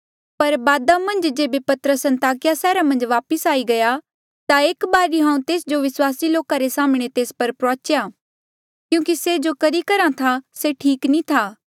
पर बादा मन्झ जेबे पतरस अन्ताकिया सैहरा मन्झ वापस आई गया ता एक बारी हांऊँ तेस जो विस्वासी लोका रे साम्हणें तेस पर प्रुआचेया क्यूंकि से जो करी करहा था से ठीक नी था